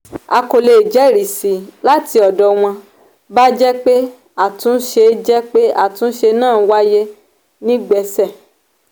a kò lè jẹ́risí láti ọdọ̀ wọn bá jẹ́ pé àtúnṣe jẹ́ pé àtúnṣe náà wáyé nígbẹ́ṣẹ